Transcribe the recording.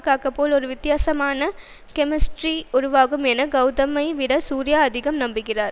காக்க போல ஒரு வித்தியாசமான கெமிஸ்ட்ரி உருவாகும் என கவுதமை விட சூர்யா அதிகம் நம்புகிறார்